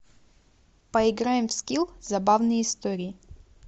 поиграем в скилл забавные истории